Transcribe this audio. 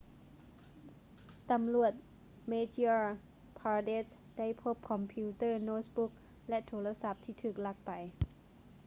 ຕຳຫຼວດ madhya pradesh ໄດ້ພົບຄອມພິວເຕີ້ໂນ້ດບຸກ ແລະ ໂທລະສັບທີ່ຖືກລັກໄປ